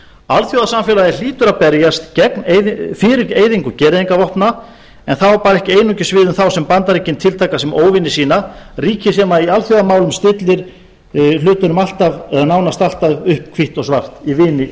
alþjóðasamfélagið hlýtur að berjast fyrir eyðingu gereyðingarvopna en það á ekki einungis við um þá sem bandaríkin tiltaka sem óvini sína ríki sem í alþjóðamálum stillir hlutunum nánast alltaf upp hvítt og svart í vini og